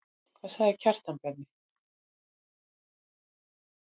Hvað sagði Kjartan Bjarni?